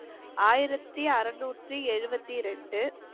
ஆயிரத்தி அறுநூற்றி எழுவத்தி ரெண்டு